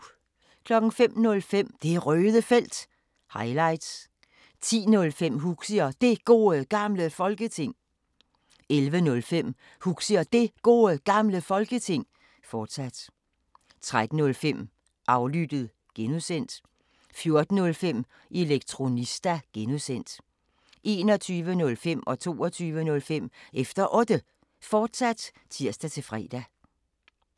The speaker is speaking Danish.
05:05: Det Røde Felt – highlights 10:05: Huxi og Det Gode Gamle Folketing 11:05: Huxi og Det Gode Gamle Folketing, fortsat 13:05: Aflyttet (G) 14:05: Elektronista (G) 21:05: Efter Otte, fortsat (tir-fre) 22:05: Efter Otte, fortsat (tir-fre)